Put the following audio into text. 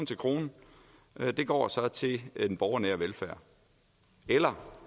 krone går til den borgernære velfærd eller